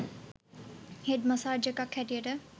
head massage එකක් හැටියට